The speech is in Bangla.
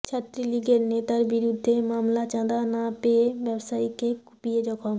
ছাত্রলীগের নেতার বিরুদ্ধে মামলা চাঁদা না পেয়ে ব্যবসায়ীকে কুপিয়ে জখম